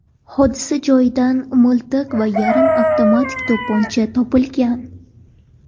Hodisa joyidan miltiq va yarim avtomatik to‘pponcha topilgan.